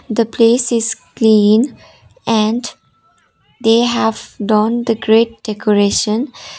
the place is clean and they have done the great decoration.